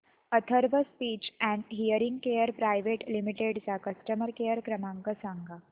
Atharva speech and hearing care private limited चा customer care क्रमांक सांगा